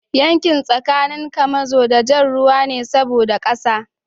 Yakin tsakanin kamazo da jar ruwa ne saboda kasa